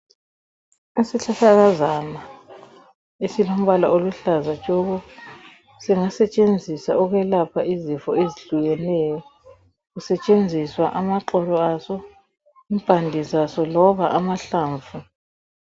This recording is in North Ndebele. Isihlahlakazana esilombala oluhlaza tshoko, singasetshenziswa ukwelapha izifo ezihlukeneyo. Kusetshenziswa amaxolo aso, impande zaso loba amahlamvu.